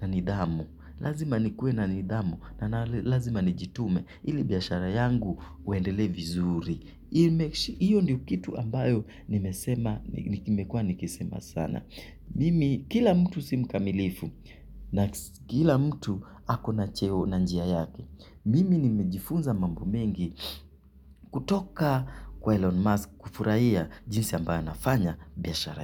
na nidhamu. Lazima nikuwe na nidhamu na lazima nijitume ili biashara yangu uendele vizuri. Iyo ndio kitu ambayo nimesema nimekua nikisema sana. Mimi kila mtu si mkamilifu na kila mtu ako na cheo na njia yake. Mimi nimejifunza mamb mengi kutoka kwa Elon Musk kufurahia jinsi ambayo nafanya biashara.